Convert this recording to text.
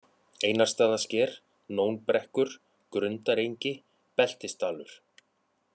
Einarsstaðasker, Nónbrekkur, Grundarengi, Beltisdalur